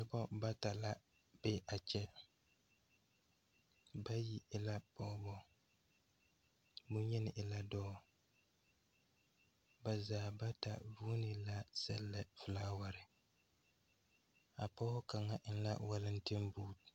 Noba bata la be a kyɛ. Bayi e la pɔgeba, neŋyeni e la dɔɔ, ba zaa bata vuuni la sɛllɛ felaaware. A pɔge kaŋa eŋ la walenteŋ buuti.